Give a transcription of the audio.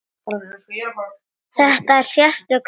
Þetta er sérstök þjóð.